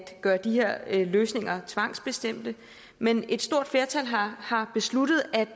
gøre de her løsninger tvangsbestemte men et stort flertal har besluttet at